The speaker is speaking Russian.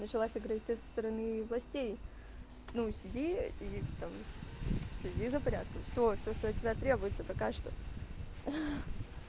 началась агрессия со стороны властей ну сиди и там следи за порядком все все что от тебя требуется пока что